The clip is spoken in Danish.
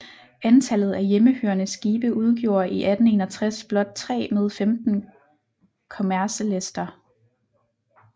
Antallet af hjemmehørende skibe udgjorde i 1861 blot 3 med 15 kommercelæster